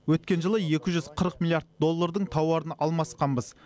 өткен жылы екі жүз қырық миллиард доллардың тауарын алмасқанбыз